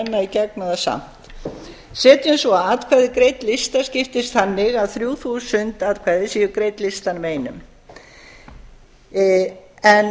nú að renna í gegnum það samt setjum svo að atkvæði greidd lista skiptist þannig að þrjú þúsund atkvæði séu greidd listanum einum en